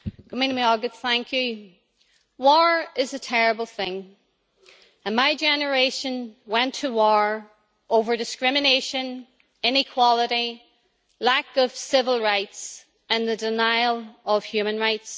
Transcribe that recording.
Mr President, war is a terrible thing, and my generation went to war over discrimination, inequality, lack of civil rights and the denial of human rights.